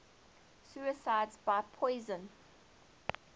suicides by poison